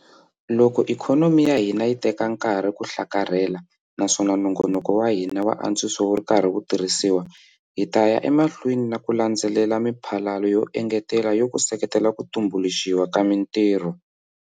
Loko ikhonomi ya hina yi teka nkarhi ku hlakarhela naswona nongoloko wa hina wa antswiso wu ri karhi wu tirhisiwa, hi ta ya emahlweni na ku landzelela miphalalo yo engetela yo ku seketela ku tumbuluxiwa ka mitirho.